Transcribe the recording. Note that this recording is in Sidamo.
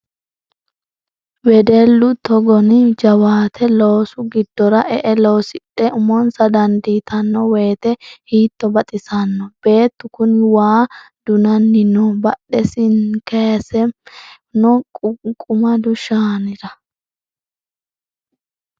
Wedellu togoni jawaate loosu giddora e"e loosidhe umonsa dandiittano woyte hiitto baxisano beettu kuni waa dunanni noo badhesini kayisame no ququmadu shaanira.